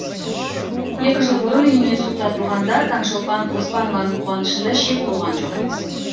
екі жыл бұрын үйіне су тартылғанда таңшолпан оспанованың қуанышында шек болған жоқ